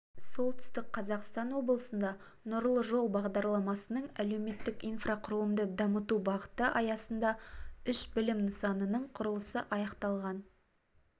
солтүстік қазақстан облысында нұрлы жол бағдарламасының әлеуметтік инфрақұрылымды дамыту бағыты аясында үш білім нысанының құрылысы аяқталған